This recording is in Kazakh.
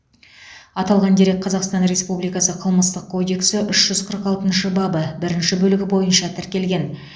аталған дерек қазақстан республикасы қылмыстық кодексі үш жүз қырық алтыншы бабы бірінші бөлігі бойынша тіркелген